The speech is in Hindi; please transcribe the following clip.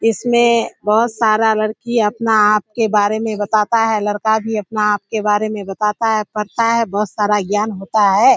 इसमे बहुत सारा लड़की अपने आप के बारे मे बताता है लड़का भी अपने आप के बारे मे बताता है पढ़ता है बहुत सारा ज्ञान होता है।